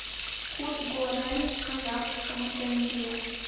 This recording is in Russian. курс гуарани к казахскому тенге